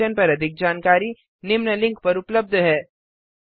इस मिशन पर अधिक जानकारी निम्न लिंक पर उपलब्ध है